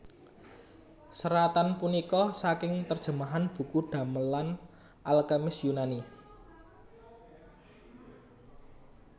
Seratan punika saking terjemahan buku damelan al kemis Yunani